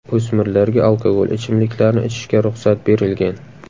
O‘smirlarga alkogol ichimliklarni ichishga ruxsat berilgan.